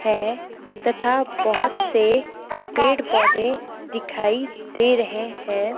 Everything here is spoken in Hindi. है तथा बहोत से पेड़ पौधे दिखाई दे रहें हैं।